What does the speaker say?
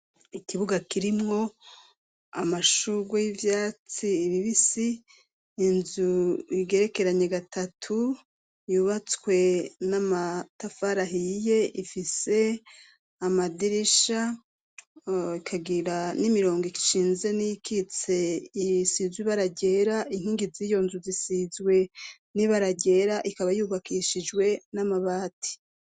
Ikibuga kirimwo amashugwe y'ivyatsi bibisi inzu igerekeranye gatatu yubatswe n'amatafari ahiye ifise amadirisha rikagira n'imirongo ishinze niyikitse isizwe ibara ryera inkingi ziyo nzu zisizwe nibara ryera ikaba yubakishijwe namabati